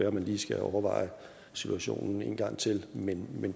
at man lige skal overveje situationen en gang til men